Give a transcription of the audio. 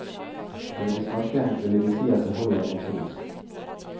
Kunne de snakke, ville de si at det holder i massevis.